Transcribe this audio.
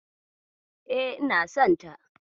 E, ina sonta.